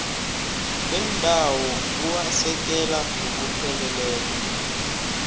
bendawo buwasekela ngokupheleleko